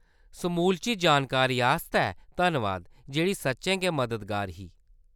समूलची जानकारी आस्तै धन्नबाद, जेह्‌‌ड़ी सच्चें गै मददगार ही।